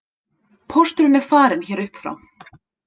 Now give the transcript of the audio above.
Pósturinn er farinn hér upp frá